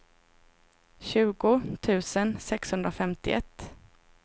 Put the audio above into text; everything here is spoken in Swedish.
tjugo tusen sexhundrafemtioett